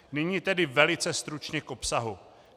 Nyní tedy velice stručně k obsahu.